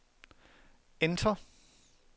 enter